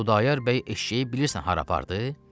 Xudayar bəy eşşəyi bilirsən hara apardı?